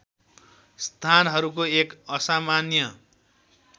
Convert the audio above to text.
स्थानहरूको एक असामान्य